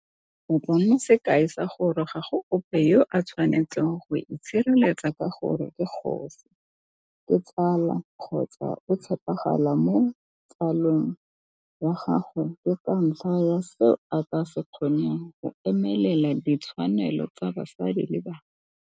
O tla nna sekai sa gore ga go ope yo a tshwanetseng go itshireletsa ka gore ke kgosi, ke tsala kgotsa o tshepagala mo tsale ng ya gagwe ke ka ntlha ya seo a ka se kgoneng go emelela ditshwanelo tsa basadi le bana.